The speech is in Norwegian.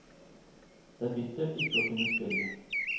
Det er bittert ikke å kunne spille.